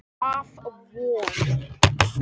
Af Von